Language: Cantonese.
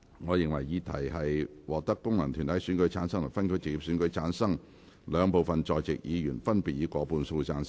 我認為議題獲得經由功能團體選舉產生及分區直接選舉產生的兩部分在席議員，分別以過半數贊成。